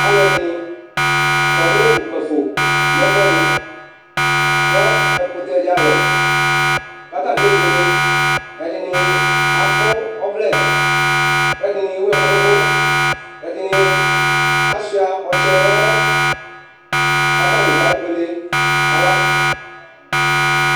aloɛdini kɔ no kpafo no ɛfoɛdi no ɛkotɛ di alɔ k'atani kebuele ɛdini akɔ ɔvlɛ k'ɛdini ewu ɛko n'òvò ɛdini asua ɔtsɛ n'ɛmɔ k'atani kebuele kala